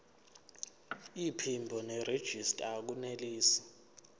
iphimbo nerejista akunelisi